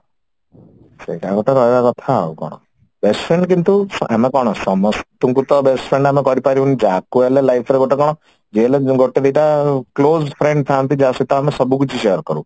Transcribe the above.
ସେଇଟା ଆଗ ତ ରହିବା କଥା ଆଉ କଣ best friend କିନ୍ତୁ ଆମେ କଣ ସମସ୍ତଙ୍କୁ ତ best friend ଆମେ କରିପାରିବୁନି ଯାହାକୁ ହେଲେ life ରେ ଗୋଟେ କଣ ଯିଏ ହେଲେ ଗୋଟେ ଦି ଟା close friend ଥାଆନ୍ତି ଯାହା ସହିତ ଆମେ ସବୁକିଛି share କରୁ